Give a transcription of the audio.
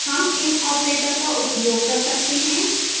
हम in operator का उपयोग कर सकते हैं